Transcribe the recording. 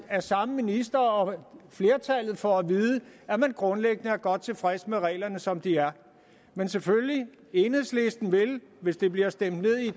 af samme minister og flertallet får at vide at man grundlæggende er godt tilfreds med reglerne som de er men selvfølgelig vil enhedslisten hvis det bliver stemt ned i